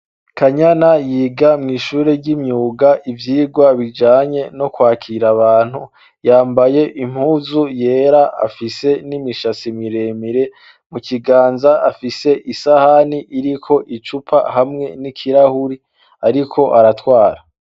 Kanyana yiga mw'ishuri ry'imyuga ivyirwa bijanye no kwakira abantu yambaye impuzu yera afise n'imishasi miremire mu kiganza afise isahani iriko icupa hamwe n'ikirahuri, ariko aratwara.